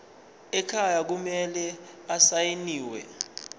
ekhaya kumele asayiniwe